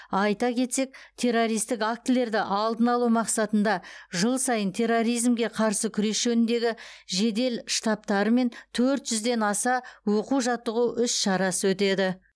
айта кетсек террористік актілерді алдын алу мақсатында жыл сайын терроризмге қарсы күрес жөніндегі жедел штабатарымен төрт жүзден аса оқу жаттығу іс шара өтеді